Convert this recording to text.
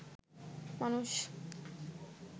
মানুষ